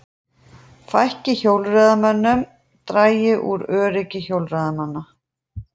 Fækki hjólreiðamönnum dragi úr öryggi hjólreiðamanna